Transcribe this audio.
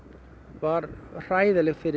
var hræðileg fyrir